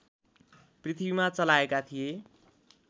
पृथ्वीमा चलाएका थिए